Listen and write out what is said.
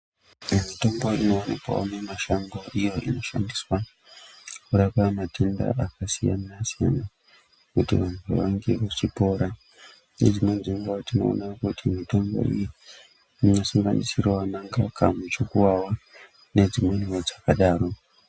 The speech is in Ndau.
Mitombo inowanikwa mumashango iyo inoshandiswa kurapa matenda akasiyana siyana kuti vantu vawanikwe vechipora nezvimweni zvenguwa tinoona kuti mitombo iyi inonasirwa nemuchukuwawa nedzimweniwo dzakadaro.